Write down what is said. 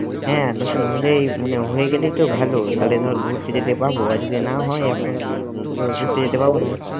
হ্যাঁ নতুন হলেই মানে হয়ে গেলেই তো ভালো তাহলে ধর ঘুরতে যেতে পারবো আর যদি না হয় এখন তো ঘুরতে যেতে পারবো না।